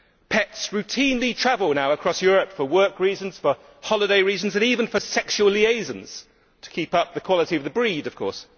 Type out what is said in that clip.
Pets now routinely travel across Europe for work reasons, for holiday reasons and even for sexual liaisons to keep up the quality of the breed, of course.